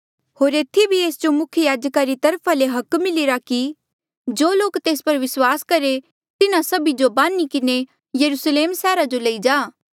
होर एथी भी एस जो मुख्य याजका री तरफा ले हक मिलिरा कि जो लोक तेरे पर विस्वास करें तिन्हा सभी जो बान्ही किन्हें यरुस्लेम सैहरा जो लेई जा